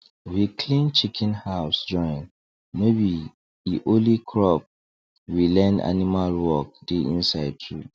we clean chicken house join no b e only crop we learn animal work dey inside too